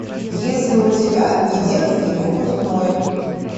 есть ли у тебя недетский выпускной